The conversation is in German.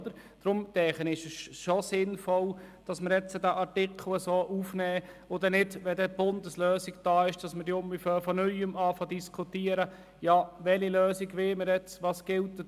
Deshalb ist es sinnvoll, den Artikel jetzt aufzunehmen, um bei Inkrafttreten der Bundeslösung nicht von Neuem mit der Diskussion darüber zu beginnen, welche Lösung wir wollten, und was nun gelte.